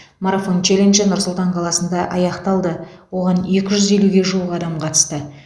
марафон челленджі нұр сұлтан қаласында аяқталды оған екі жүз елуге жуық адам қатысты